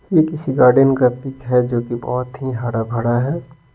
यह किसी गार्डन का पिक है जोकि बहुत ही हरा भरा है।